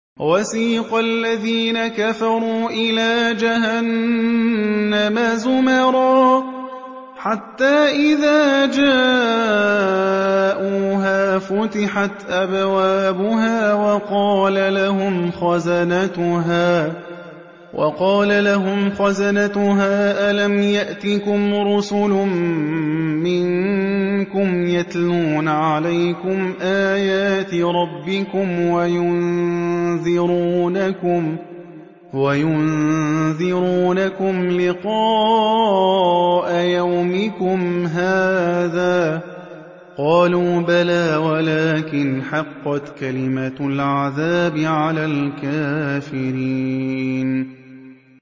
وَسِيقَ الَّذِينَ كَفَرُوا إِلَىٰ جَهَنَّمَ زُمَرًا ۖ حَتَّىٰ إِذَا جَاءُوهَا فُتِحَتْ أَبْوَابُهَا وَقَالَ لَهُمْ خَزَنَتُهَا أَلَمْ يَأْتِكُمْ رُسُلٌ مِّنكُمْ يَتْلُونَ عَلَيْكُمْ آيَاتِ رَبِّكُمْ وَيُنذِرُونَكُمْ لِقَاءَ يَوْمِكُمْ هَٰذَا ۚ قَالُوا بَلَىٰ وَلَٰكِنْ حَقَّتْ كَلِمَةُ الْعَذَابِ عَلَى الْكَافِرِينَ